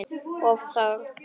Og óþarft!